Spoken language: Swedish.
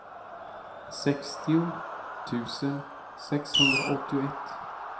sextio tusen sexhundraåttioett